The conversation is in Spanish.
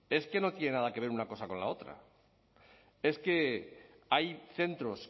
es que no tiene nada que ver una cosa con la otra es que hay centros